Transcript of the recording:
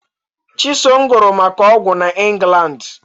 Chisom gụrụ maka ọgwụ na England